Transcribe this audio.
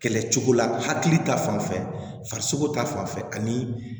Kɛlɛ cogo la hakili ta fanfɛko ta fanfɛ ani